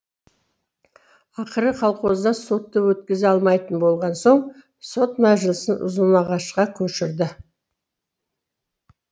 ақыры колхозда сотты өткізе алмайтын болған соң сот мәжілісін ұзынағашқа көшірді